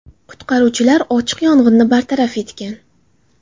Qutqaruvchilar ochiq yong‘inni bartaraf etgan.